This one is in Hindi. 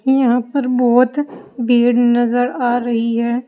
यहां पर बहोत भीड़ नजर आ रही है।